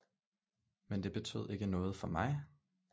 Men det betød ikke noget for mig